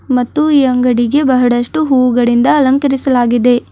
ಮತ್ತು ಈ ಅಂಗಡಿಗೆ ಬಹಳಷ್ಟು ಹೂಗಳಿಂದ ಅಲಂಕರಿಸಲಾಗಿದೆ.